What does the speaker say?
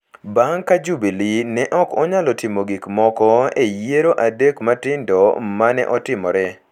bang’ ka Jubili ne ok onyalo timo gik moko e yiero adek matindo ma ne otimore,